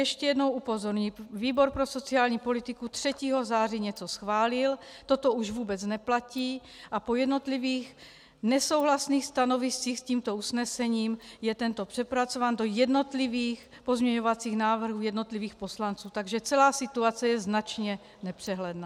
Ještě jednou upozorňuji - výbor pro sociální politiku 3. září něco schválil, toto už vůbec neplatí a po jednotlivých nesouhlasných stanoviscích s tímto usnesením je tento přepracován do jednotlivých pozměňovacích návrhů jednotlivých poslanců, takže celá situace je značně nepřehledná.